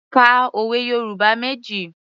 Ka òwe Yorùbá méjì.